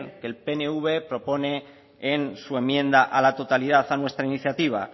que el pnv propone en su enmienda a la totalidad a nuestra iniciativa